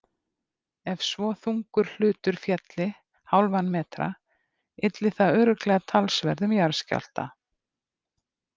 Ef svo þungur hlutur félli hálfan metra ylli það örugglega talsverðum jarðskjálfta.